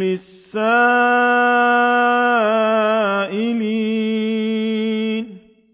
لِّلسَّائِلِينَ